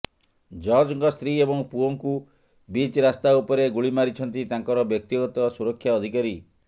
ଜଜ୍ଙ୍କ ସ୍ତ୍ରୀ ଏବଂ ପୁଅଙ୍କୁ ବିଚ୍ ରାସ୍ତା ଉପରେ ଗୁଳି ମାରିଛନ୍ତି ତାଙ୍କର ବ୍ୟକ୍ତିଗତ ସୁରକ୍ଷା ଅଧିକାରୀ